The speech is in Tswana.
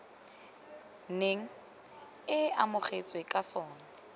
neng e amogetswe ka sona